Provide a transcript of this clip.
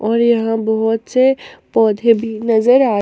और यहां बहोत से पौधे भी नजर आ--